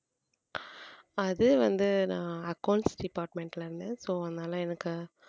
அது வந்து நான் accounts department ல இருந்து so அதனால எனக்கு